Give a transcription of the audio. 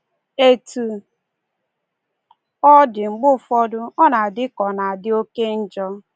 Etu ọ dị, mgbe ụfọdụ, ọ na-adị ka ọ na-adị oke njọ.